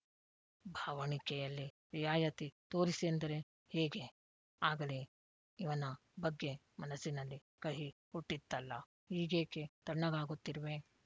ಭಾವಣಿಕೆಯಲ್ಲಿ ರಿಯಾಯಿತಿ ತೋರಿಸಿ ಯಂದರೆ ಹೇಗೆ ಆಗಲೇ ಇವನ ಬಗ್ಗೆ ಮನಸ್ಸಿನಲ್ಲಿ ಕಹಿ ಹುಟ್ಟಿತ್ತಲ್ಲ ಈಗೇಕೆ ತಣ್ಣಗಾಗುತ್ತಿರುವೆ